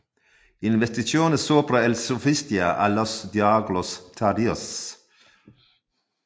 Investigaciones sobre el Sofista y los diálogos tardíos